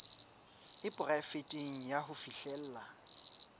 e poraefete ya ho fihlella